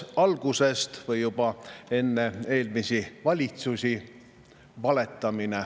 algas see juba enne, eelmiste valitsuste ajal.